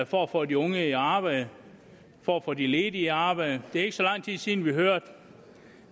for at få de unge i arbejde for at få de ledige i arbejde det er ikke så lang tid siden vi hørte